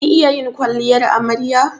Kin iya yin kwalliyar amarya?